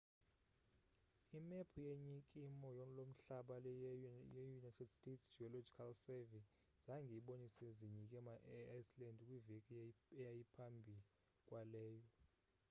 imephu ye nyikimo lomhlaba yeunited states geological survey zange ibonise zinyikima eiceland kwiveki eyayiphambi kwaleyo